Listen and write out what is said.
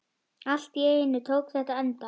Allt í einu tók þetta enda.